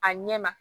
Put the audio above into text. A ɲɛ ma